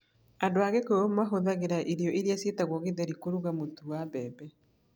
Andũ a Kikuyu mahũthagĩra irio iria ciĩtagwo githeri kũruga mũtu wa mbembe na cairi.